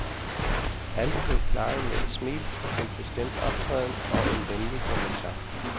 Alt blev klaret med et smil, en bestemt optræden og en venlig kommentar.